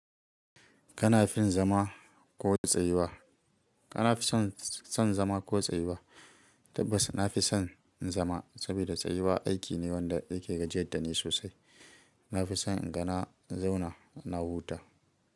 Kana fin zama ko tsayuwa? Kana fi son zama ko tsayuwa? Tabbas na fi son zama, saboda tsayuwa aiki ne wanda yake gajiyar da ni sosai. Na fi son inga na zauna na huta.